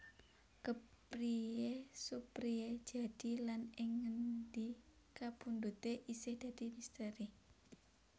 Kepriye Suprijadi lan ing ngendi kapundhute isih dadi misteri